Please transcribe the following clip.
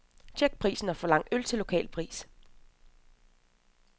Check prisen og forlang øl til lokal pris.